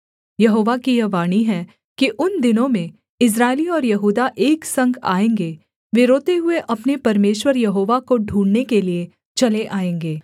यहोवा की यह वाणी है कि उन दिनों में इस्राएली और यहूदा एक संग आएँगे वे रोते हुए अपने परमेश्वर यहोवा को ढूँढ़ने के लिये चले आएँगे